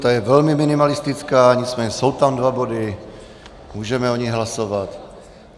Ta je velmi minimalistická, nicméně jsou tam dva body, můžeme o nich hlasovat.